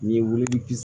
N'i ye wili